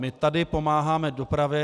My tady pomáháme dopravě.